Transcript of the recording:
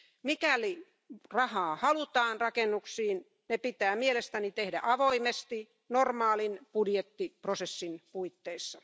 Mikäli rahaa halutaan rakennuksiin, se pitää mielestäni tehdä avoimesti normaalin budjettiprosessin puitteissa.